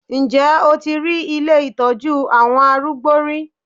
Ǹjẹ́ o ti rí ilé ìtọ́jú àwọn arúgbó rí?